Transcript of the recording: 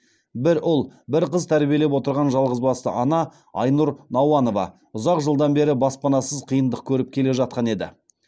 бір ұл бір қыз тәрбиелеп отырған жалғызбасты ана айнұр науанова ұзақ жылдан бері баспанасыз қиындық көріп келе жатқан еді